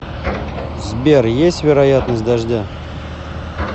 сбер есть вероятность дождя